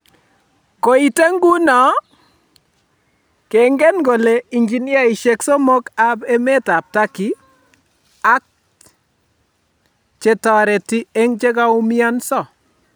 Koitee nguno, keengen kole injiniaisiek somok ap emet ap turkey ak chetooreti aeng' chekogoumianso